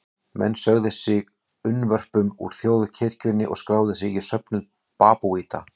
Menn sögðu sig unnvörpum úr þjóðkirkjunni og skráðu sig í söfnuð babúíta.